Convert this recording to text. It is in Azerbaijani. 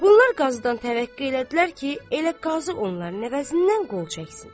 Bunlar qazıdan təvəqqə elədilər ki, elə qazı onların əvəzindən qol çəksin.